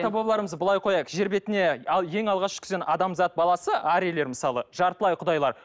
былай қояйық жер бетіне ал ең алғаш түскен адамзат баласы арийлер мысалы жартылай құдайлар